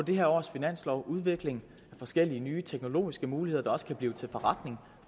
det her års finanslov udvikling af forskellige nye teknologiske muligheder der også kan blive til forretning